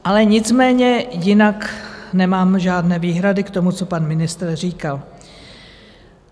Ale nicméně jinak nemám žádné výhrady k tomu, co pan ministr říkal.